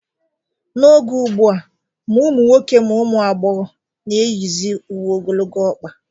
N'oge ugbu a, ma ụmụ nwoke ma ụmụ agbọghọ na-eyizi uwe ogologo ọkpa